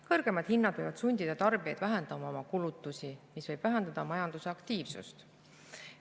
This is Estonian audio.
Kõrgemad hinnad võivad sundida tarbijaid vähendama oma kulutusi, mis võib vähendada majandusaktiivsust.